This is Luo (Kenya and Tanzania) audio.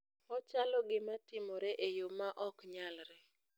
Ochalo gima timore e yoo ma oknyalre!